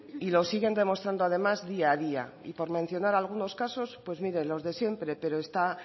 y lo siguen demostrando además día a día y por mencionar algunos casos pues mire los de siempre pero está